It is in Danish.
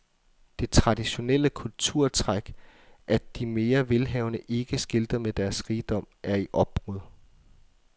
Det traditionelle kulturtræk, at de mere velhavende ikke skilter med deres rigdom, er i opbrud.